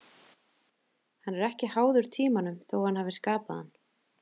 Hann er ekki háður tímanum þó að hann hafi skapað hann .